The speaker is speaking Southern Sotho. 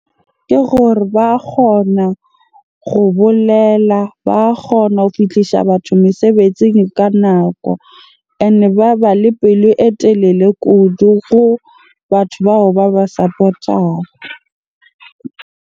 Ke gore ba kgona go bolela. Ba kgona ho fihlisa batho mesebetsing ka nako. Ene ba ba le pelo e telele kudu go batho bao ba ba support-ang.